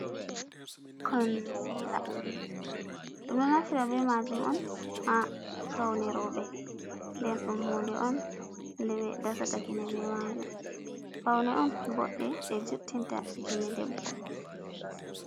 Konsila ɗum ɗo naftira ɓe majum on ha faune roɓe nden ɗum hunɗe on nɗe ɓe dasata kine be majum faune on boɗɗe ɗe juttinta kine ɗebbo.